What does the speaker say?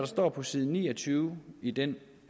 står på side ni og tyve i den